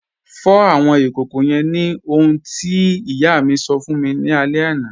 Fọ̀ awọn ikókó yẹ́n ni ohun tí iyà mi sọ̀ fún mi ni alẹ̀ àná.